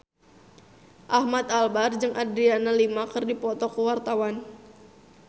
Ahmad Albar jeung Adriana Lima keur dipoto ku wartawan